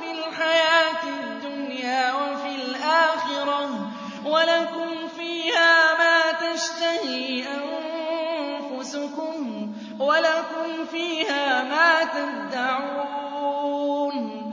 فِي الْحَيَاةِ الدُّنْيَا وَفِي الْآخِرَةِ ۖ وَلَكُمْ فِيهَا مَا تَشْتَهِي أَنفُسُكُمْ وَلَكُمْ فِيهَا مَا تَدَّعُونَ